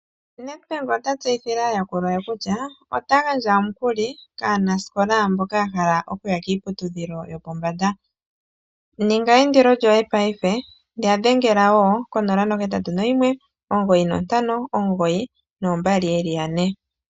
Nedbank ota tseyithile aayakulwa ye kutya ota gandja omukuli kaanasikola mboka yahala okuya kiiputudhilo yopombanda, ninga eyindilo lyoyepaife yadhengela woo ko 0819592222.